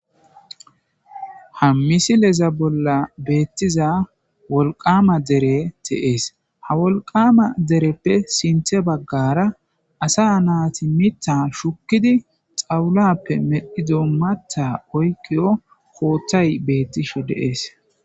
Ha missileza bolla bettiza wolqama derey de'ees ha wolqama dereppe sinththe bagarra assa naytti miththa shukiidi xawullaope medhdhiddo maththa iyikizo koththay bettishshe de'ees